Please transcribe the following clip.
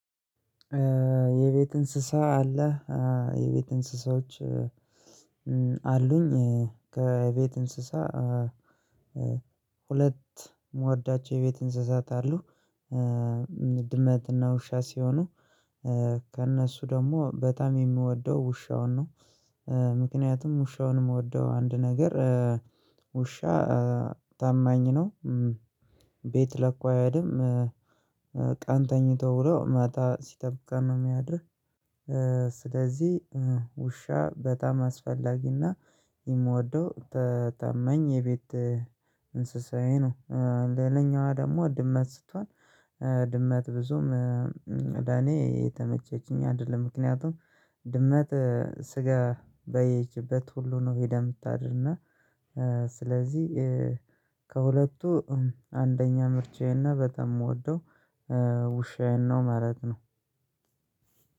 የቤት እንስሳ አለ የቤት እንስሳዎች አሉኝ ከቤት እንስሳ ሁለት የምወዳቸው የቤት እንስሳት አሉ ድመትና ውሻ ሲሆኑ ከእነሱ ደግሞ በጣም የምወደው ውሻውን ነው። ምክንያቱም ውሻውን የምወደው አንድ ነገር ውሻ ታማኝ ነው። ቤት ለኮ አይሄድም ቀን ተኝቶ ብሎ ማታ ሲጠብቃን ነው የሚያድርግ። ስለዚህ ውሻ በጣም አስፈላጊና የምወደው ታመኝ የቤት እንስሳዬ ነው። ሌላኛዋ ደግሞ ድመት ስትሆን ድመት ብዙም ለኔ የተመቸችኝ አይደለም። ምክንያቱም ድመት ስጋ ባየችበት ሁሉ ነው የምታድርና። ስለዚህ ከሁለቱ አንደኛ ምርጫዬና በተም የምወደው ውሻዬን ነው መለት ነው።